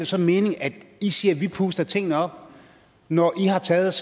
så mening at i siger at vi puster tingene op når i har taget